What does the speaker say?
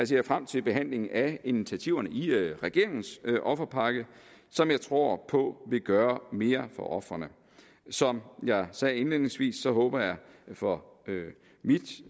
ser frem til behandlingen af initiativerne i regeringens offerpakke som jeg tror på vil gøre mere for ofrene som jeg sagde indledningsvis håber jeg for mit